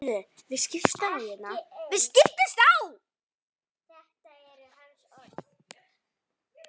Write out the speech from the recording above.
Allt í lagi, kannski golan.